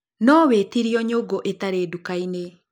No wĩtĩrio nyũngu itarĩ nduka-inĩ.